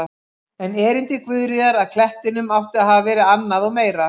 En erindi Guðríðar að klettinum átti að hafa verið annað og meira.